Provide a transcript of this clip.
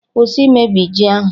Kwụsị imebi ji ahụ!